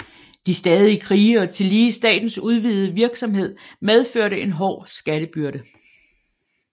De stadige krige og tillige statens udvidede virksomhed medførte en hård skattebyrde